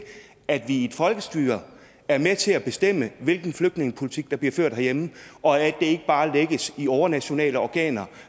at vi i et folkestyre er med til at bestemme hvilken flygtningepolitik der bliver ført herhjemme og at ikke bare lægges i overnationale organer